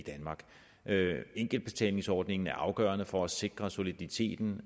danmark enkeltbetalingsordningen er afgørende for at sikre soliditeten